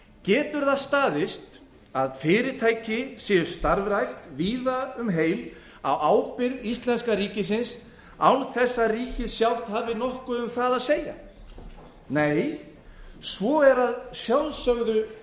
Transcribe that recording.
getur það staðist að fyrirtæki séu starfrækt víða um heim á ábyrgð íslenska ríkisins án þess að ríkið sjálft hafi nokkuð um það að segja nei svo er að sjálfsögðu